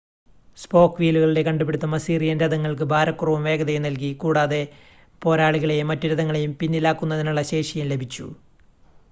spoke വീലുകളുടെ കണ്ടുപിടുത്തം Assyrian രഥങ്ങൾക്ക് ഭാരക്കുറവും വേഗതയും നൽകി കൂടാതെ പോരാളികളെയും മറ്റു രഥങ്ങളെയും പിന്നിലാക്കുന്നതിനുള്ള ശേഷിയും ലഭിച്ചു